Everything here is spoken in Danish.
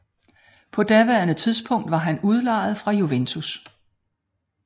På daværende tidspunkt var han udlejet fra Juventus